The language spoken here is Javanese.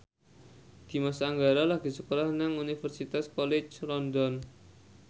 Dimas Anggara lagi sekolah nang Universitas College London